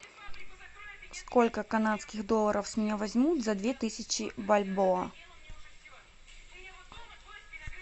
сколько канадских долларов с меня возьмут за две тысячи бальбоа